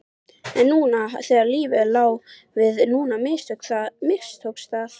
En núna þegar lífið lá við, núna mistókst það!